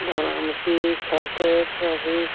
धरम के खातिर सभी --